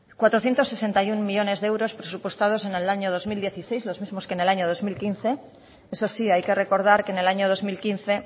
cuatrocientos sesenta y uno millónes presupuestados en el año dos mil dieciséis los mismos que en el año dos mil quince eso sí hay que recordar que en el año dos mil quince